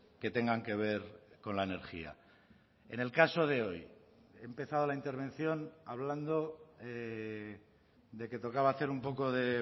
que tengan que ver con la energía en el caso de hoy he empezado la intervención hablando de que tocaba hacer un poco de